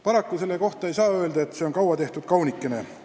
Paraku ei saa selle kohta öelda, et see on kaua tehtud kaunikene.